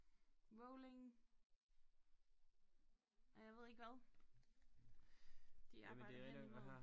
Rolling og jeg ved ikke hvad de arbejder hen i mod